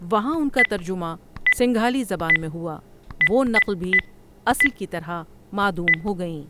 وہاں ان کا ترجمہ سنگھالی زبان میں ہوا وہ نقل بھی اصل کی طرح معدم ہوگئیں۔